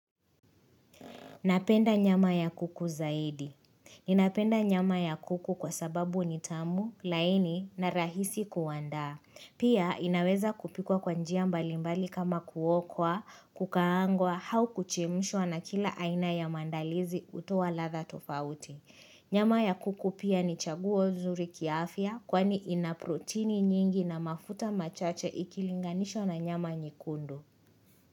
Napenda nyama ya kuku zaidi. Ninapenda nyama ya kuku kwa sababu nitamu, laini na rahisi kuandaa. Pia inaweza kupikwa kwa njia mbalimbali kama kuokwa, kukaangwa, hau kuchemshwa na kila aina ya mandalizi hutoa ladha tofauti. Nyama ya kuku pia ni chaguo zuri kiafya kwani ina protini nyingi na mafuta machache ikilinganishwa na nyama nyekundu.